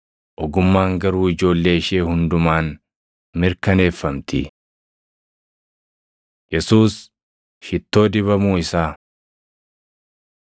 Ogummaan garuu ijoollee ishee hundumaan mirkaneeffamti.” Yesuus Shittoo Dibamuu Isaa 7:37‑39 kwi – Mat 26:6‑13; Mar 14:3‑9; Yoh 12:1‑8 7:41,42 kwi – Mat 18:23‑34